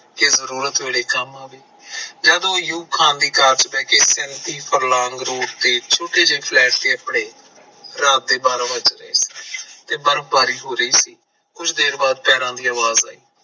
ਕੀ ਜਰੂਰਤ ਵੇਲੇ ਕੰਮ ਆਵੇ ਜਦੋਂ ਉਹ ਛੋਟੇ ਜਿਹੇ flat ਨੇ ਆਪਣੇ ਰਾਤ ਦੇ ਬਾਰਾ ਵਜ ਗਏ ਤੇ ਬਰਫਬਾਰੀ ਹੋ ਰਹੀ ਸੀ ਕੁਝ ਦੇਰ ਬਾਅਦ ਪੈਰਾਂ ਦੀ ਆਵਾਜ ਆਈ